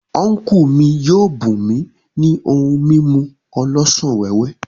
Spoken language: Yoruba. Unku mi yio bum mi ni ohun mimu olosan wewe.